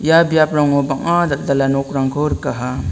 ia biaprango bang·a dal·dala nokrangko rikaha.